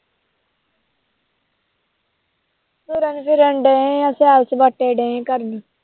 ਤੁਰਨ ਫਿਰਨਡੇ ਹਾਂ ਸੈਰ ਸਪਾਟੇ ਡਏ ਕਰਨ।